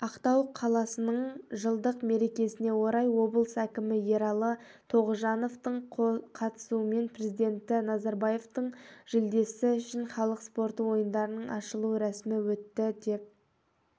ақтау қаласының жылдық мерекесіне орай облыс әкімі ералы тоғжановтың қатысуымен президенті назарбаевтың жүлдесі үшін халық спорты ойындарының ашылу рәсімі өтті деп